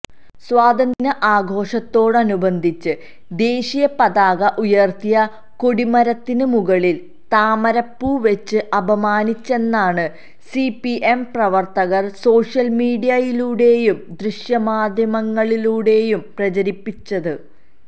സ്വാതന്ത്ര്യദിന ആഘോഷത്തോടനുബന്ധിച്ച് ദേശീയപതാക ഉയര്ത്തിയ കൊടിമരത്തിന് മുകളില് താമരപ്പൂ വെച്ച് അപമാനിച്ചെന്നാണ് സിപിഎം പ്രവര്ത്തകര് സോഷ്യല്മീഡിയയിലൂടെയും ദൃശ്യമാധ്യമങ്ങളിലൂടെയും പ്രചരിപ്പിച്ചത്